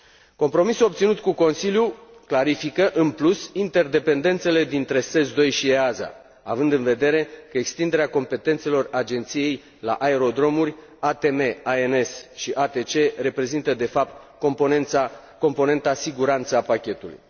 Compromisul obținut cu Consiliul clarifică, în plus, interdependențele dintre SES II și AESA, având în vedere că extinderea competențelor Agenției la aerodromuri, ATM ANS și ATC reprezintă de fapt componenta siguranță a pachetului.